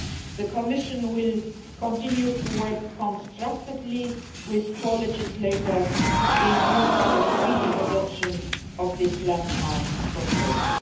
The Commission will continue to work constructively with co legislators with a view to the speedy adoption of this landmark proposal.